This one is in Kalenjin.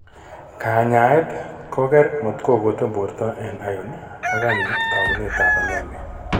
Kanyaayet ko keer matkokoten borto en iron, ak kani taakunetab anemia.